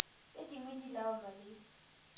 tse dingwe di laolwa le